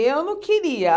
Eu não queria.